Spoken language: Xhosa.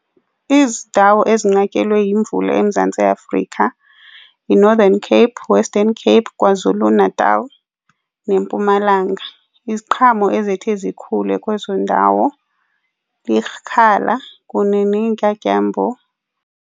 Iindawo ezinqatyelwe yimvula eMzantsi Afrika yiNorthern Cape, Western Cape, KwaZulu-Natal neMpumalanga. Iziqhamo ezithi zikhule kwezo ndawo likhala kunye neentyatyambo.